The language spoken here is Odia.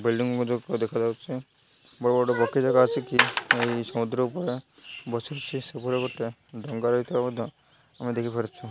ବିଲିଣ୍ଡିଙ୍ଗ ମଧ୍ୟ ଉପରେ ଦେଖାଯାଉଛି ବଡ ବଡ ଭିତରେ ମଧ୍ୟ ଆମେ ଦେଖି ପାରୁଛୁ।